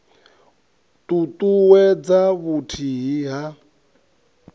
t ut uwedza vhuthihi ha